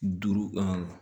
Duuru